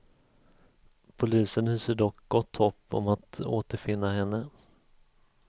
Polisen hyser dock gott hopp om att återfinna henne.